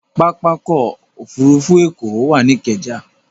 Pápákọ̀ òfurufú Èkó wà ní Ikeja